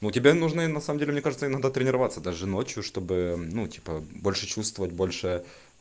у тебе нужны на самом деле мне кажется иногда тренироваться даже ночью чтобы ну типа больше чувствовать больше